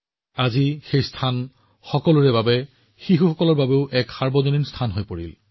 আজি সেই ঠাইখন মানুহৰ বাবে শিশুসকলৰ বাবে এক ৰাজহুৱা স্থান হৈ পৰিছে